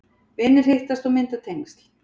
Vinir hittast og mynda tengsl